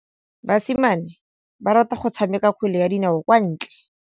Basimane ba rata go tshameka kgwele ya dinaô kwa ntle.